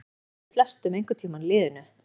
Þannig líður flestum einhvern tíma í lífinu.